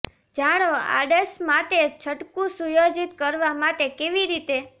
જાણો આડશ માટે છટકું સુયોજિત કરવા માટે કેવી રીતે